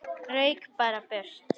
Rauk bara í burtu.